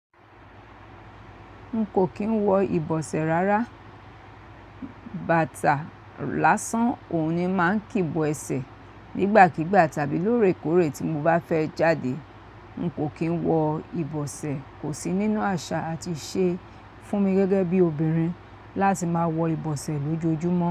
N kò kín wọ ìbọ̀sẹ̀ rárá, bàtà lásán òun ni ma ń kìbọ ẹsẹ̀ nígbàkígbà tàbí lóòrèkóòrè tí mo bá fẹ́ jáde. N kò kín wọ ìbọ̀sẹ̀ kò sí nínú àṣà àti ìṣe fún mi gẹ́gẹ́ bí obìnrin láti máa wọ ìbọ̀sẹ̀ lójoojúmọ́